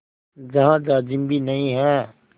जहाँ जाजिम भी नहीं है